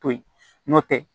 To yi n'o tɛ